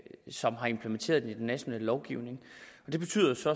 som har implementeret den i den nationale lovgivning og det betyder så